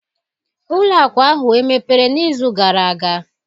Ụlọ akụ ahụ emepere n'izu gara aga?